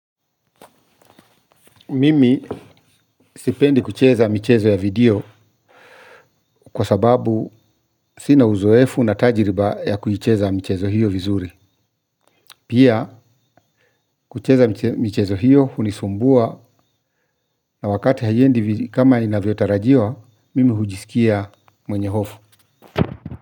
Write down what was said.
Mimi sipendi kucheza mchezo ya video kwa sababu sina uzoefu na tajiriba ya kuicheza michezo hiyo vizuri. Pia kucheza mchezo hiyo hunisumbua. Na wakati haiendi kama inavyo tarajiwa mimi hujisikia mwenye hofu.